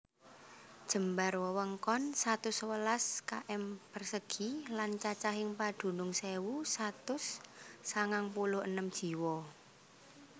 Jembar wewengkon satus sewelas km persegi lan cacahing padunung sewu satus sangang puluh enem jiwa